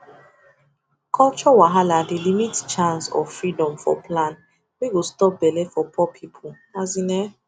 culture wahala dey limit chance or freedom for plan wey go stop belle for poor people as in ehh